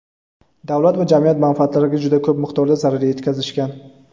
davlat va jamiyat manfaatlariga juda ko‘p miqdorda zarar yetkazishgan.